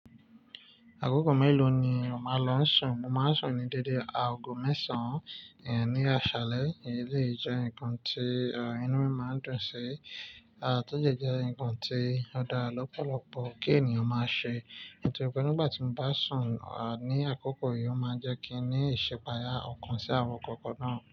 Àkókò mélòó ni o máa ń lọ sùn? Mo máa ń sùn ní dédé aago mẹ́sàn, ẹ ní àṣálẹ́. Eléyìí jẹ́ ǹkan tí inú mi máa ń dùn sí, à tọ́dẹ jẹ ǹkan tí ó dá lọ́pọ̀lọpọ̀ kí ènìyàn máa ṣe. Bò tíe pé nígbà tí mo bá sùn ní àkókò yìí ó máa ń jẹ́ kí n ní ìṣipàáyà ọ̀kan sí àwọn kankan náà.